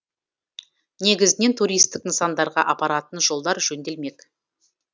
негізінен туристік нысандарға апаратын жолдар жөнделмек